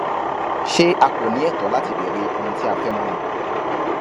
ṣé a kò ní ẹtọ láti béèrè ohun tí a fẹ mọ ni